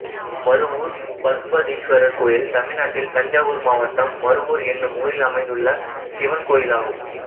மருவூர் பசுபதீஸ்வரர் கோயில் தமிழ்நாட்டில் தஞ்சாவூர் மாவட்டம் மருவூர் என்னும் ஊரில் அமைந்துள்ள சிவன் கோயிலாகும்